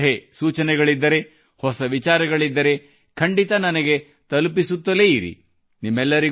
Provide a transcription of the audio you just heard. ಏನೇ ಸಲಹೆಗಳಿದ್ದರೆ ಹೊಸ ವಿಚಾರಗಳಿದ್ದರೆ ಖಂಡಿತ ನನಗೆ ತಲುಪಿಸುತ್ತಲೇ ಇರಿ